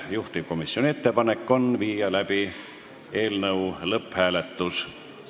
Juhtivkomisjoni ettepanek on panna eelnõu lõpphääletusele.